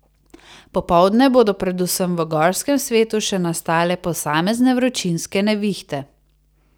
Popoldne bodo predvsem v gorskem svetu še nastale posamezne vročinske nevihte.